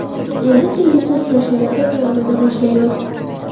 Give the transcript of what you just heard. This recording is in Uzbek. Endi kelgusi uchrashuvlarga tayyorlana boshlaymiz.